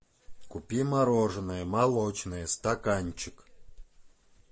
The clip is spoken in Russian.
купи мороженое молочное стаканчик